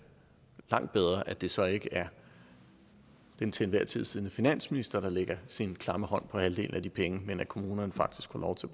langt bedre at det så ikke er den til enhver tid siddende finansminister der lægger sin klamme hånd på halvdelen af de penge men at kommunerne faktisk får lov til